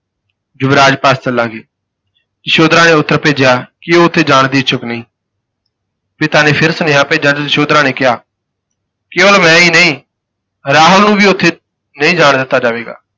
ਯੁਵਰਾਜ ਪਾਸ ਚੱਲਾਂਗੇ, ਯਸ਼ੋਧਰਾ ਨੇ ਉੱਤਰ ਭੇਜਿਆ ਕਿ ਉਹ ਉਥੇ ਜਾਣ ਦੀ ਇਛੁੱਕ ਨਹੀਂ ਪਿਤਾ ਨੇ ਫਿਰ ਸੁਨੇਹਾ ਭੇਜਿਆ ਤਾਂ ਯਸ਼ੋਧਰਾ ਨੇ ਕਿਹਾ ਕੇਵਲ ਮੈਂ ਹੀ ਨਹੀਂ, ਰਾਹੁਲ ਨੂੰ ਵੀ ਉਥੇ ਨਹੀਂ ਜਾਣ ਦਿੱਤਾ ਜਾਵੇਗਾ।